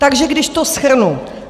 Takže když to shrnu.